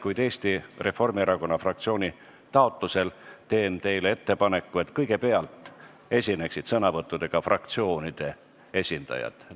Kuid Eesti Reformierakonna fraktsiooni taotlusel teen teile ettepaneku, et kõigepealt esineksid fraktsioonide esindajad.